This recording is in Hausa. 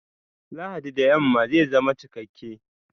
Lahadi da yamma zai zama cikakke!